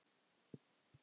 Hann pabbi?